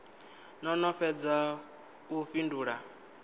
no no fhedza u fhindula